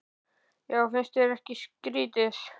Já, finnst þér það ekki skrýtið?